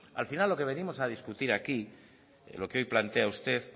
al final lo que venimos a discutir aquí lo que hoy plantea usted